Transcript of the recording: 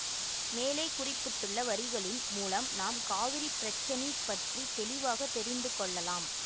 மேலே குறிப்பிட்டுள்ள வரிகளின் மூலம் நாம் காவிரி பிரச்சனிப் பற்றி தெளிவாக தெரிந்து கொள்ளலாம்